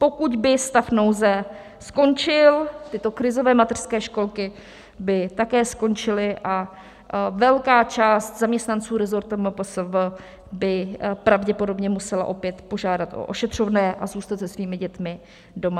Pokud by stav nouze skončil, tyto krizové mateřské školky by také skončily a velká část zaměstnanců resortu MPSV by pravděpodobně musela opět požádat o ošetřovné a zůstat se svými dětmi doma.